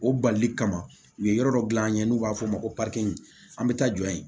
O balili kama u ye yɔrɔ dɔ dilan an ye n'u b'a fɔ o ma ko an bɛ taa jɔ yen